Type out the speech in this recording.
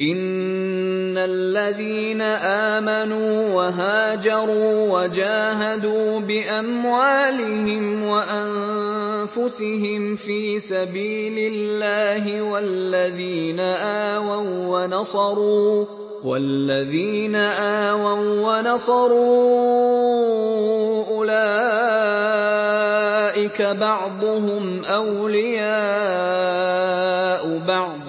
إِنَّ الَّذِينَ آمَنُوا وَهَاجَرُوا وَجَاهَدُوا بِأَمْوَالِهِمْ وَأَنفُسِهِمْ فِي سَبِيلِ اللَّهِ وَالَّذِينَ آوَوا وَّنَصَرُوا أُولَٰئِكَ بَعْضُهُمْ أَوْلِيَاءُ بَعْضٍ ۚ